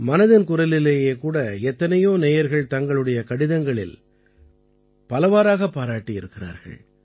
மனதின் குரலிலேயே கூட எத்தனையோ நேயர்கள் தங்களுடைய கடிதங்களில் பலவாறாகப் பாராட்டியிருக்கிறார்கள்